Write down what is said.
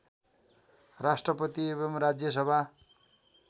राष्ट्रपति एवं राज्यसभा